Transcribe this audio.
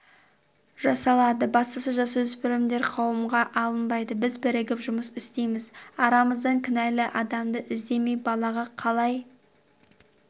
жасалады бастысы жасөспірімдер қамауға алынбайды біз бірігіп жұмыс істейміз арамыздан кінәлі адамды іздемей балаға қалай